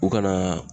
U kana